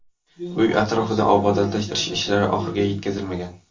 Uy atrofini obodonlashtirish ishlari ham oxiriga yetkazilmagan.